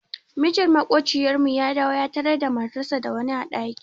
Mijin maƙociyar mu ya dawo ya tarar da matarsa da wani a ɗaki.